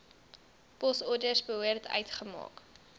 posorders behoort uitgemaak